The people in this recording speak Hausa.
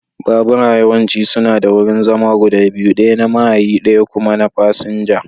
Babura yawanci suna da wurin zama guda biyu, ɗaya na mahayi ɗaya kuma na fasinja.